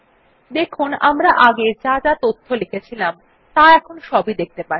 দেখুন আমরা আগে যা তথ্য লিখেছিলাম ত়া এখন দেখতে পাচ্ছি